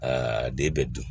Aa den bɛ dun